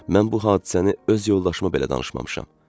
Mən bu hadisəni öz yoldaşıma belə danışmamışam.